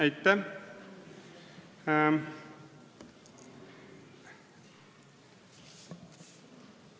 Aitäh!